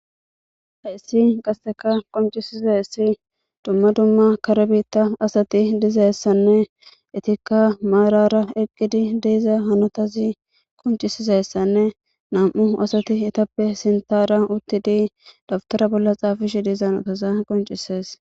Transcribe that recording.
Hayssi qaseka qonccisizaysi dumma dumma kare biita asati dizaysanne eetika maarar eqqidi de'iza hanotazi qonccisizayssanne nam'u asati eetappe sintara uttidi daptare bolla xaafishe diza medhoza qonccisees.